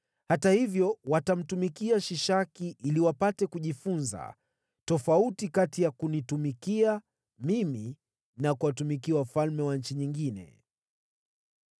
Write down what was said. Hata hivyo, watamtumikia Shishaki ili wapate kujifunza tofauti kati ya kunitumikia mimi na kuwatumikia wafalme wa nchi nyingine.”